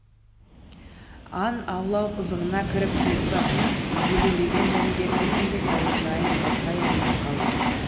аң аулау қызығына кіріп кетіп әбден елеуреген жәнібек бір мезет аужайын байқай алмай қалды